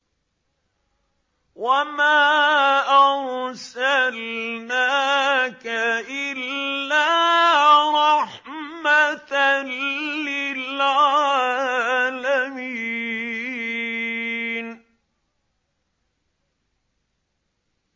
وَمَا أَرْسَلْنَاكَ إِلَّا رَحْمَةً لِّلْعَالَمِينَ